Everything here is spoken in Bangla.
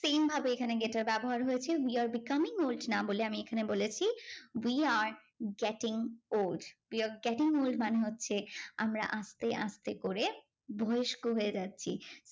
same ভাবে এখানে get এর ব্যবহার হয়েছে we are becoming old না বলে আমি এখানে বলেছি we are getting old we are getting old মানে হচ্ছে আমরা আস্তে আস্তে করে বয়স্ক হয়ে যাচ্ছি